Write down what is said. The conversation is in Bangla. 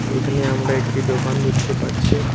এইখানে আমরা একটি দোকান দেখতে পাচ্ছি।